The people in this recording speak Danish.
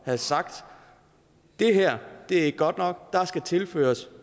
have sagt det her er ikke godt nok der skal tilføres